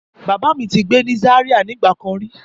Bàbá mi ti gbé ní Zaria nígbà kan rí.